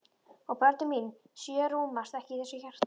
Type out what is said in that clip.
Og börnin mín sjö rúmast ekki í þessu hjarta.